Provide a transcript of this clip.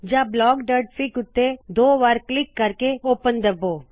ਜਾੰ blockਫਿਗ ਉੱਤੇ ਦੋ ਵਾਰ ਕਲਿੱਕ ਕਰਕੇ ਓਪਨ ਕਰੋ